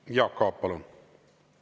Jaak Aab, palun!